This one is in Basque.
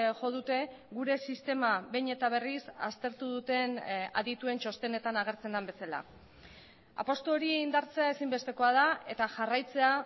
jo dute gure sistema behin eta berriz aztertu duten adituen txostenetan agertzen den bezala apustu hori indartzea ezinbestekoa da eta jarraitzea